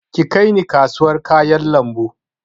Ki kai ni kasawar kayan lambu!